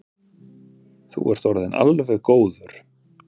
Þú ert orðinn alveg góður.